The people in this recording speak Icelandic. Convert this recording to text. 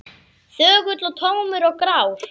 Þögull og tómur og grár.